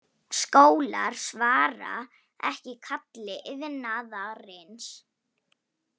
Skólar svara ekki kalli iðnaðarins